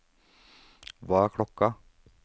hva er klokken